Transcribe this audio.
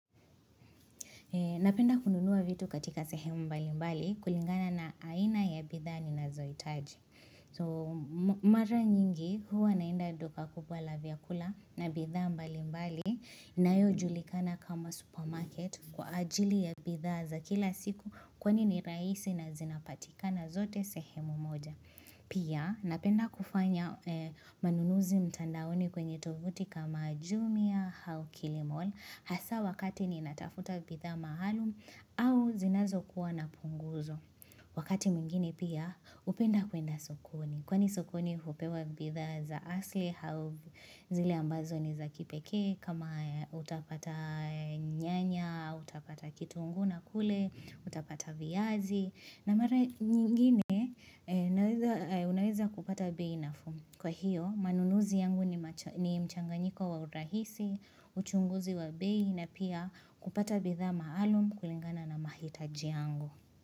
Napenda kununua vitu katika sehemu mbali mbali kulingana na aina ya bidhaa ninazohitaji. So mara nyingi huwa naenda duka kubwa la vyakula na bidhaa mbali mbali inayo julikana kama supermarket kwa ajili ya bidhaa za kila siku kwani ni rahisi na zinapatikana zote sehemu moja. Pia napenda kufanya manunuzi mtandaoni kwenye tovuti kama jumia hau kilimol hasa wakati ninatafuta bidhaa mahalumu au zinazo kuwa na punguzo. Wakati mwingine pia upenda kwenda sokoni kwani sukoni hupewa bidhaa za asili au zile ambazo ni za kipekee kama utapata nyanya, utapata kitunguu na kule, utapata viazi. Na mara nyingine unaweza kupata bei nafuu Kwa hiyo manunuzi yangu ni mchanganyiko wa urahisi uchunguzi wa bei na pia kupata bidhaa maalum kulingana na mahitaji yangu.